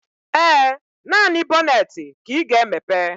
Ee, naanị bọnetị ka ị ga-emepe